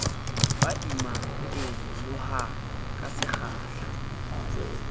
ba imang e nyolohang kasekgahla